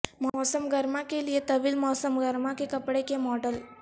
موسم گرما کے لئے طویل موسم گرما کے کپڑے کے ماڈل